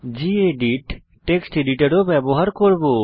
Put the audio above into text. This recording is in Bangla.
গেদিত টেক্সট এডিটর ও ব্যবহার করব